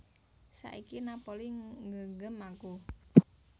Saiki Napoli nggegem aku